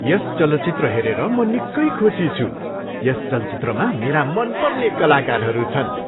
यस चलचित्र हेरेर म निकै खुसी छु। यस चलचित्रमा मेरा मनपर्ने कलाकारहरू छन्।